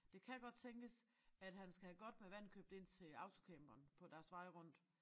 Det kan godt tænkes at han skal have godt med vand købt ind til autocamperen på deres vej rundt